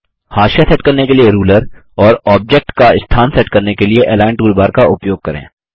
हाशिया margin set करने के लिए रूलर और ऑब्जेक्ट की स्थान सेट करने के लिए अलिग्न टूलबार का उपयोग करें